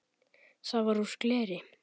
Það var úr gleri.